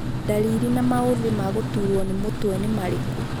Ndariri na maũthĩ ma gũturwo nĩ mũtwe nĩ marĩkũ ?